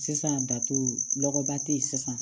Sisan dato lɔgɔba te yen sisan